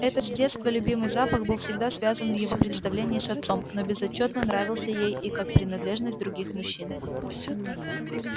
этот с детства любимый запах был всегда связан в его представлении с отцом но безотчётно нравился ей и как принадлежность других мужчин